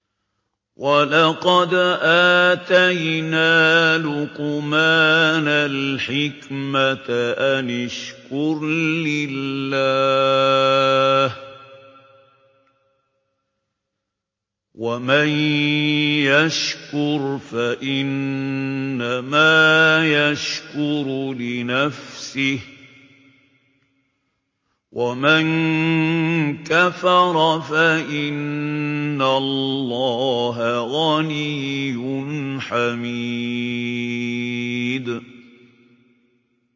وَلَقَدْ آتَيْنَا لُقْمَانَ الْحِكْمَةَ أَنِ اشْكُرْ لِلَّهِ ۚ وَمَن يَشْكُرْ فَإِنَّمَا يَشْكُرُ لِنَفْسِهِ ۖ وَمَن كَفَرَ فَإِنَّ اللَّهَ غَنِيٌّ حَمِيدٌ